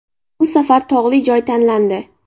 Bu safar tog‘li joy tanlandi.